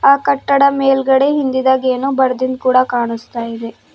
ಆ ಕಟ್ಟಡ ಮೇಲ್ಗಡೆ ಹಿಂದಿದಗ್ ಏನೋ ಬರ್ದಿದ್ ಕೂಡ ಕಾಣುಸ್ತಾ ಇದೆ.